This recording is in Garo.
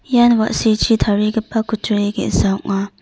ian wa·sichi tarigipa kutturi ge·sa ong·a.